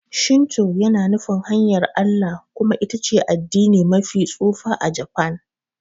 Shinto yana nufin 'hanyar Allah' kuma ita ce addini mafi tsufa a Japan.